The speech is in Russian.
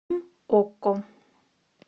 окко